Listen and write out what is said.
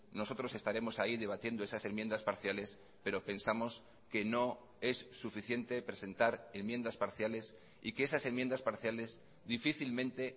nosotros estaremos ahí debatiendo esas enmiendas parciales pero pensamos que no es suficiente presentar enmiendas parciales y que esas enmiendas parciales difícilmente